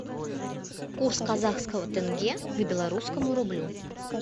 курс казахского тенге к белорусскому рублю